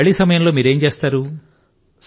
ఖాళీ సమయం లో మీరు ఏం చేస్తారు